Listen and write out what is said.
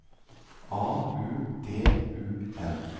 A U D U N